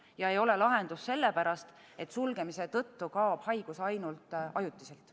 Ja ei ole lahendus sellepärast, et sulgemise tõttu kaob haigus ainult ajutiselt.